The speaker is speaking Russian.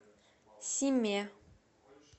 симе